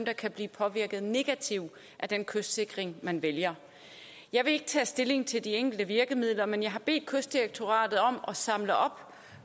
der kan blive påvirket negativt af den kystsikring man vælger jeg vil ikke tage stilling til de enkelte virkemidler men jeg har bedt kystdirektoratet om at samle op